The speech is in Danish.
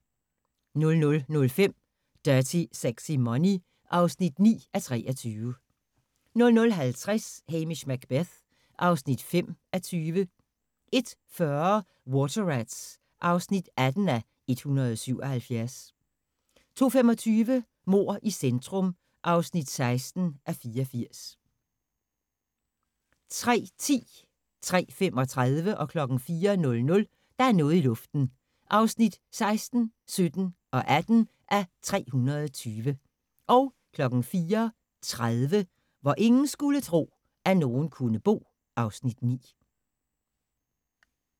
00:05: Dirty Sexy Money (9:23) 00:50: Hamish Macbeth (5:20) 01:40: Water Rats (18:177) 02:25: Mord i centrum (16:84) 03:10: Der er noget i luften (16:320) 03:35: Der er noget i luften (17:320) 04:00: Der er noget i luften (18:320) 04:30: Hvor ingen skulle tro, at nogen kunne bo (Afs. 9)